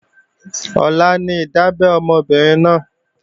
Ọ̀la ní ìdábẹ́ ọmọ obìnrin náà